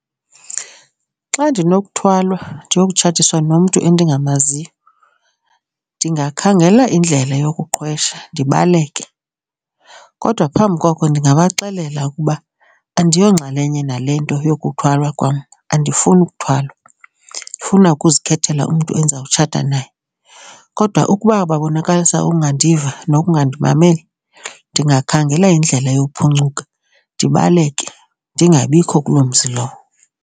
Xa ndinokuthwalwa ndiyokutshatiswa nomntu endingamaziyo ndingakhangela indlela yokuqhwesha ndibaleke kodwa phambi koko ndingabaxelela ukuba andiyonxalenye nale nto yokuthwala kwam, andifuni ukuthwala. Ndifuna ukuzikhethela umntu endizawutshata naye. Kodwa ukuba babonakalisa ukungandiva nokungandimameli ndingakhangela indlela yokuphuncuka, ndibaleke, ndingabikho kuloo mzi lowo.